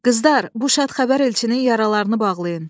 Qızlar, bu şad xəbər elçinin yaralarını bağlayın.